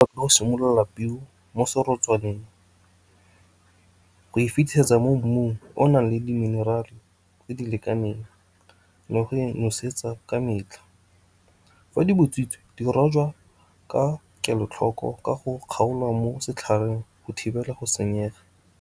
Fa o simolola peo mo serotswaneng, o e fitisetsa mo mmung o o nang le di-mineral-e tse di lekaneng le go e nosetsa ka metlha. Fa di butswitse, di rojwa ka kelotlhoko ka go kgaolwa mo setlhareng go thibela go senyega.